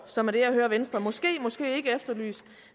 som er det jeg hører venstre måske måske ikke efterlyse